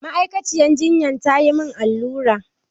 A ma'aikaciyar jinyan tayi mun allura